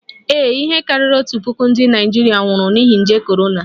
Ee, ihe karịrị otu puku ndị Naịjirịa nwụrụ n'ihi nje korona